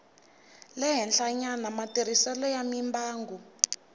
le henhlanyana matirhiselo ya mimbangu